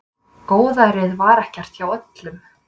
Góðærið var ekkert hjá öllum.